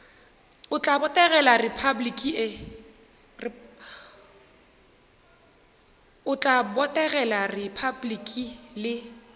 o tla botegela repabliki le